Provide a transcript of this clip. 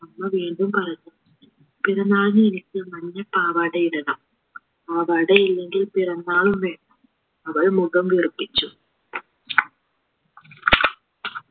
അമ്മ വീണ്ടും പറഞ്ഞു പിറന്നാളിന് എനിക്ക് മഞ്ഞ പാവാടയിടണം പാവാടയില്ലെങ്കിൽ പിറന്നാളും വേണ്ട അവൾ മുഖം വീർപ്പിച്ചു